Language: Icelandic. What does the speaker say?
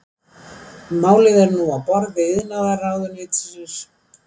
Málið er nú á borði iðnaðarráðuneytisins